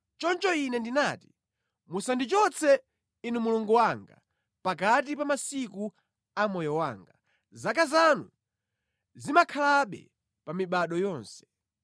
Choncho Ine ndinati: “Musandichotse, Inu Mulungu wanga, pakati pa masiku a moyo wanga; zaka zanu zimakhalabe pa mibado yonse.